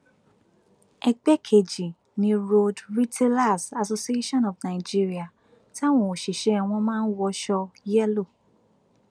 ẹgbẹ kejì ni road retailers association of nigeria táwọn òṣìṣẹ wọn máa ń wọṣọ yẹlò